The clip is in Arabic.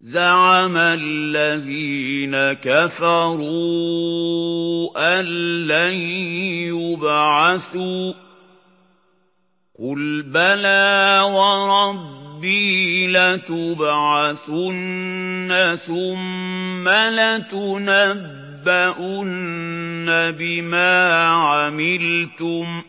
زَعَمَ الَّذِينَ كَفَرُوا أَن لَّن يُبْعَثُوا ۚ قُلْ بَلَىٰ وَرَبِّي لَتُبْعَثُنَّ ثُمَّ لَتُنَبَّؤُنَّ بِمَا عَمِلْتُمْ ۚ